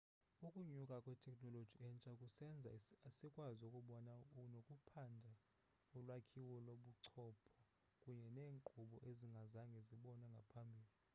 ukunyuka kwetekhnoloji entsha kusenza sikwazi ukubona nokuphanda ulwakhiwo lobuchopho kunye neenkqubo ezingazange zibonwe ngaphambili